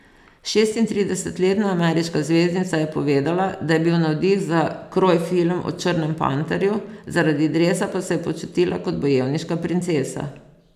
Šestintridesetletna ameriška zvezdnica je povedala, da je bil navdih za kroj film o Črnem panterju, zaradi dresa pa se je počutila kot bojevniška princesa.